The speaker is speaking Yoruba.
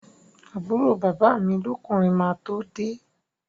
Àbúrò bàbá mi lọ́kùnrin máa tó de